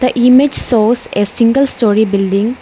image shows a single storey building.